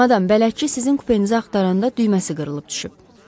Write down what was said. Madam, bələdçi sizin kupenizi axtaranda düyməsi qırılıb düşüb.